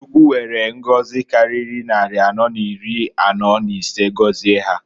Chukwu were ngozi kariri nnari anọọ n'iri anọọ n'isee gozie ha.